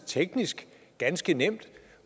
teknisk ganske nemt